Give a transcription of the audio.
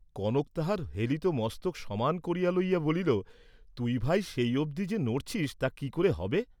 কনক তাহার হেলিত মস্তক সমান করিয়া লইয়া বলিল, "তুই, ভাই, সেই অবধি যে নড়ছিস্ তা কি করে হবে?"